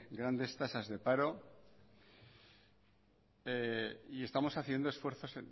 grandes tasas de paro y estamos haciendo esfuerzos